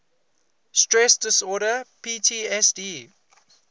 stress disorder ptsd